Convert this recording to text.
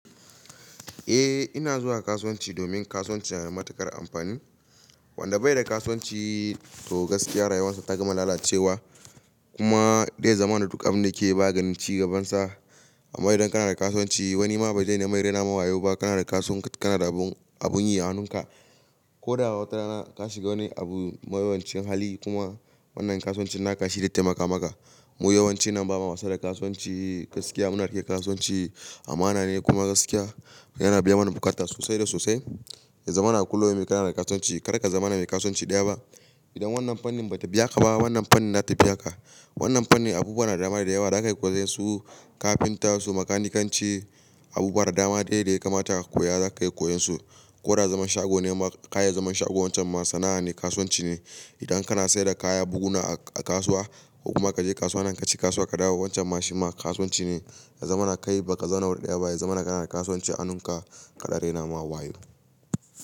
Eh ina zuwa kasuwanci domin kasuwanci yana da matuƙar amfani. Wanda bai da kasuwanci toh gaskiya rayuwarsa ta gama lalacewa. Kuma zai zamana duk abinda ya ke yi ba ya ganin ci gabansa. Amma idan kana da kasuwanci wani ma ba zai nemi ya raina ma wayau ba kana da kasu, kana da abun, abun yi a hannunka. Ko da wata rana ka shiga wani abu, mawuyancin hali kuma wannan kasuwancin naka shi zai taimaka maka. Mu yawanci nan ba ma wasa da kasuwanci gaskiya muna riƙe kasuwanci amana ne kuma gaskiya yana biya mana bukata sosai da sosai. Zama na kullum mai kana da kasuwanci kar ka zama na mai kasuwanci ɗaya ba. Idan wannan fannin ba ta biya ka ba wannan fannin za ta biya ka. Wannan fannin abubuwa na dama da yawa za ka koyi su kafinta su makanikanci abubuwa da dama dai da ya kamata ka koya za ka yi koyonsu. Ko da zaman shago ne ma ka yi zaman shago wancan ma sana'a ne kasuwanci ne. Idan kana saida kaya buhuna a kasuwa, ko kuma ka je kasuwa nan kaci kasuwa ka dawo wancan ma shi ma kasuwanci ne. Ya zamana kai ba ka zauna wuri ɗaya ba. Ya zamana kana da kasuwanci a hannunka kar a raina ma wayau.